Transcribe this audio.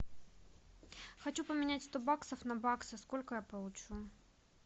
хочу поменять сто баксов на баксы сколько я получу